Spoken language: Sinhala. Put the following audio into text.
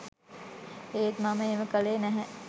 ඒත් මම එහෙම කළේ නැහැ